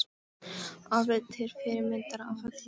Alveg til fyrirmyndar að öllu leyti!